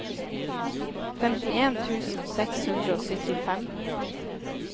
femtien tusen seks hundre og syttifem